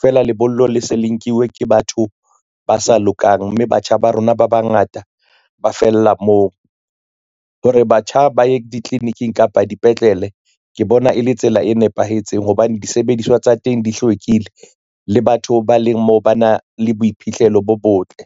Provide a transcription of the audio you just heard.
Feela lebollo le se le nkiwe ke batho ba sa lokang, mme batjha ba rona ba bangata ba fella moo, hore batjha ba ye ditliliniking kapa dipetlele ke bona e le tsela e nepahetseng hobane disebediswa tsa teng di hlwekile le batho ba leng moo ba na le boiphihlelo bo botle.